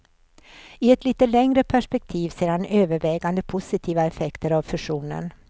I ett lite längre perspektiv ser han övervägande positiva effekter av fusionen.